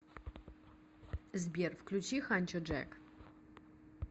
сбер включи ханчо джек